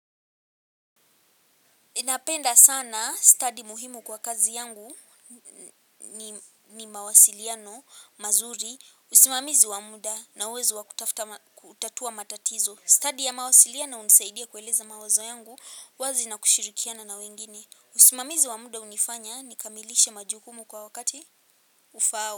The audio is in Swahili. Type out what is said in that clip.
Ninapenda sana stadi muhimu kwa kazi yangu ni mawasiliano, mazuri, usimamizi wa muda na uwezo wa kutafuta kutatua matatizo. Stadi ya mawasiliano hunisaidia kueleza mawazo yangu, wazi na kushirikiana na wengine. Usimamizi wa muda hunifanya, nikamilishe majukumu kwa wakati ufaao.